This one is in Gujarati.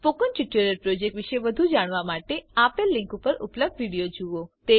સ્પોકન ટ્યુટોરીયલ પ્રોજેક્ટ વિષે વધુ જાણવા માટે નીચે આપેલ લીનક ઉપર ઉપલબ્ધ વિડીઓ જુઓ